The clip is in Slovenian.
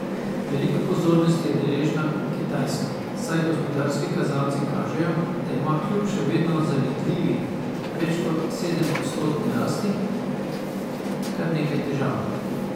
Veliko pozornosti je deležna Kitajska, saj gospodarski kazalci kažejo, da ima kljub še vedno zavidljivi, več kot sedemodstotni rasti, kar nekaj težav.